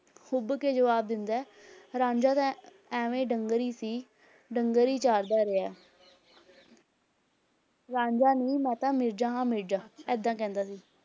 ਹੁੱਭ ਕੇ ਜੁਆਬ ਦਿੰਦਾ ਹੈ, ਰਾਂਝਾ ਤਾਂ ਐਵੇਂ ਹੀ ਡੰਗਰ ਹੀ ਸੀ ਡੰਗਰ ਹੀ ਚਾਰਦਾ ਰਿਹਾ ਰਾਂਝਾ ਨਹੀਂ, ਮੈਂ ਤਾਂ ਮਿਰਜ਼ਾ ਹਾਂ ਮਿਰਜ਼ਾ, ਏਦਾਂ ਕਹਿੰਦਾ ਸੀ।